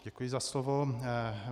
Děkuji za slovo.